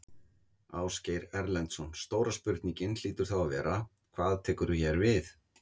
Ásgeir Erlendsson: Stóra spurningin hlýtur þá að vera: Hvað tekur hér við?